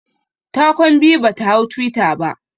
Ta kwan biyu bata hau twitter ba